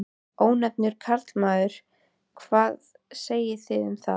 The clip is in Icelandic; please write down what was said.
Ónefndur karlmaður: Hvað segið þið um það?